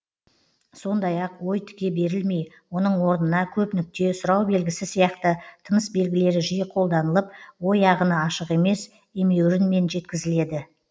сондай ақ ой тіке берілмей оның орнына көп нүкте сұрау белгісі сияқты тыныс белгілері жиі қолданылып ой ағыны ашық емес емеурінмен жеткізіледі